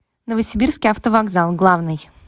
новосибирский автовокзал главный